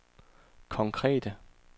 konkrete